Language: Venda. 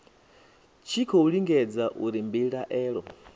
tshi khou lingedza uri mbilaelo